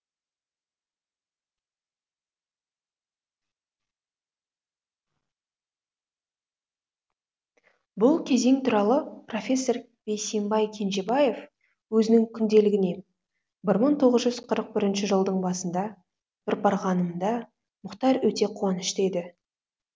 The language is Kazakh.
бұл кезең туралы профессор бейсембай кенжебаев өзінің күнделігіне бір мың тоғыз жүз қырық бірінші жылдың басында бір барғанымда мұхтар өте қуанышты еді